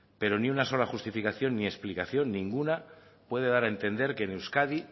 pero ni una sola justificación ni explicación ninguna puede dar a entender que en euskadi